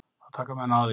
Þá taka menn á því.